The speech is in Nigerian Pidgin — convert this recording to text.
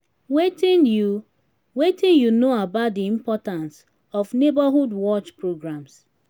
wetin you wetin you know about di importance of neighborhood watch programs?